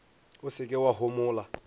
o se ke wa homola